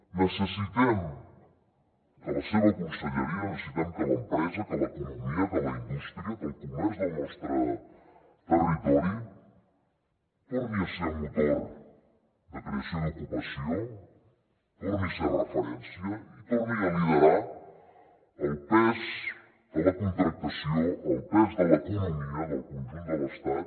necessitem que la seva conselleria necessitem que l’empresa que l’economia que la indústria que el comerç del nostre territori torni a ser motor de creació d’ocupació torni a ser referència i torni a liderar el pes de la contractació el pes de l’economia del conjunt de l’estat